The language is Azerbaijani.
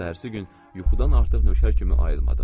Səhərisi gün yuxudan artıq nökər kimi ayılmadım.